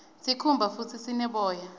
sikhumba futdi sine boya